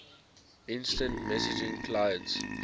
instant messaging clients